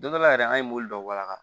Don dɔ la yɛrɛ an ye mobili dɔ walanka